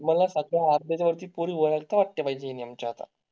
मला सध्या आर्धेजण ची पोरी ओळखतात त्या बाइंजीन यांचा आता